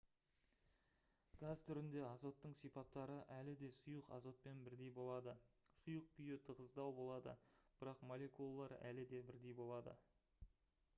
газ түрінде азоттың сипаттары әлі де сұйық азотпен бірдей болады сұйық күй тығыздау болады бірақ молекулалар әлі де бірдей болады